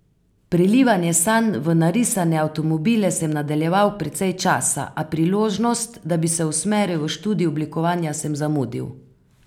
Prelivanje sanj v narisane avtomobile sem nadaljeval precej časa, a priložnost, da bi se usmeril v študij oblikovanja, sem zamudil.